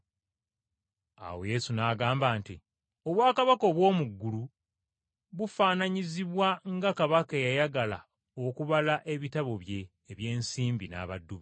Awo Yesu n’agamba nti, “Obwakabaka obw’omu ggulu bufaananyizibwa nga kabaka eyayagala okubala ebitabo bye eby’ensimbi, n’abaddu be.